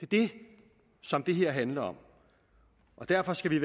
det som det her handler om og derfor skal vi